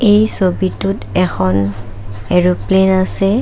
এই ছবিটোত এখন এৰ'প্লেন আছে।